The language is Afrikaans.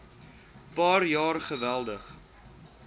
paar jaar geweldig